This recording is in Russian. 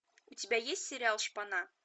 у тебя есть сериал шпана